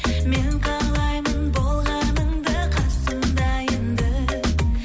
мен қалаймын болғаныңды қасымда енді